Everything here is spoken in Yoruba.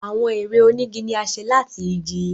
Awọn èrè onigi ní a ṣe láti ìgi.